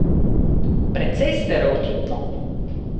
Precej stereotipno.